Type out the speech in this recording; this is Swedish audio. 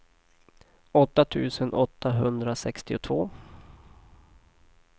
åtta tusen åttahundrasextiotvå